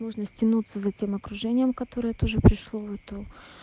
нужно стянуться за тем окружением которое тоже пришло в эту